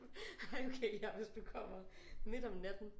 Ej okay ja hvis du kommer midt om natten